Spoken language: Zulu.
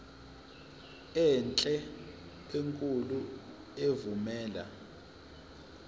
enhle enkulu evumela